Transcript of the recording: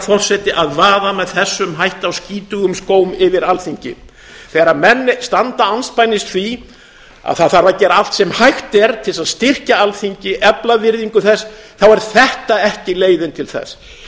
forseti að vaða með þessum hætti á skítugum skóm yfir alþingi þegar menn standa andspænis því að það þarf að gera allt sem hægt er til þess að styrkja alþingi efla virðingu þess þá er þetta ekki leiðin til þess